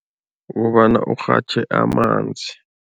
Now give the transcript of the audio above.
Kukobana urhatjhe amanzi.